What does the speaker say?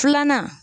Filanan